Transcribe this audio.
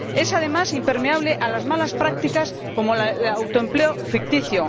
Es, además, impermeable a malas prácticas como el autoempleo ficticio.